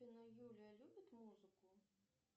юлия любит музыку